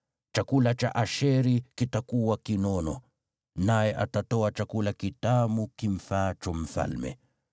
“Chakula cha Asheri kitakuwa kinono, naye atatoa chakula kitamu kimfaacho mfalme.